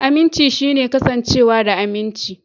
Aminci shine kasancewa da aminci.